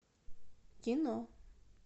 кино